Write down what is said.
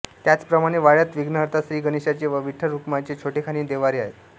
त्याच प्रमाणे वाड्यात विघ्नहर्ता श्री गणेशाचे व विठ्ठल रखुमाईचे छोटेखानी देव्हारे आहेत